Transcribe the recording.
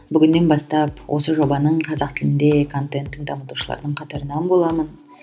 бүгіннен бастап осы жобаның қазақ тілінде контенттің дамытушылардың қатарынан боламын